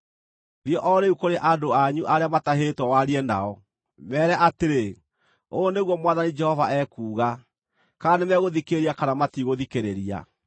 Thiĩ o rĩu kũrĩ andũ anyu arĩa matahĩtwo warie nao. Meere atĩrĩ, ‘Ũũ nĩguo Mwathani Jehova ekuuga,’ kana nĩmegũthikĩrĩria kana matigũthikĩrĩria.”